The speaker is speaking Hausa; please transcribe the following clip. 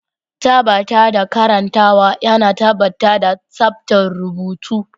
Tabbatar da karantawa yana tabbatar da tsabtar rubutu.